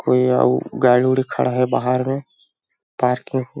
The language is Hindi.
कोई और गाड़ड़ी खड़ा है बाहर में पार्किंग --